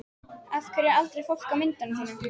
Af hverju er aldrei fólk á myndunum þínum?